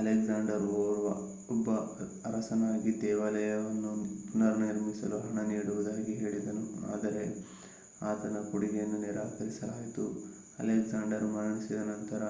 Alexander ಒಬ್ಬ ಅರಸನಾಗಿ ದೇವಾಲಯವನ್ನು ಪುನರ್ನಿರ್ಮಿಸಲು ಹಣ ನೀಡುವುದಾಗಿ ಹೇಳಿದನು ಆದರೆ ಆತನ ಕೊಡುಗೆಯನ್ನು ನಿರಾಕರಿಸಲಾಯಿತು. ಅಲೆಕ್ಸಾಂಡರ್ ಮರಣಿಸಿದ ನಂತರ